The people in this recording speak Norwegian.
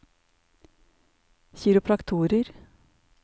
kiropraktorer